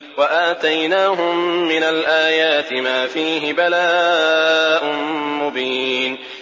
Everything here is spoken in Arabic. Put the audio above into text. وَآتَيْنَاهُم مِّنَ الْآيَاتِ مَا فِيهِ بَلَاءٌ مُّبِينٌ